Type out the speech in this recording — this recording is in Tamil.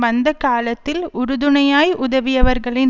வந்த காலத்தில் உறுதுணையாய் உதவியவர்களின்